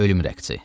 Ölüm rəqsi.